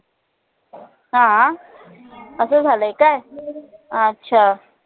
अं असं झालंय काय अच्छा